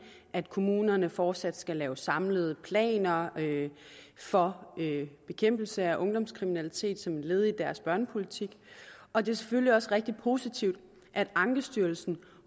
at kommunerne fortsat skal lave samlede planer for bekæmpelse af ungdomskriminalitet som et led i deres børnepolitik og det er selvfølgelig også rigtig positivt at ankestyrelsen